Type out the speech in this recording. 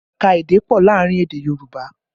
Ẹ̀ka èdè pọ̀ láàrin èdè Yorùbá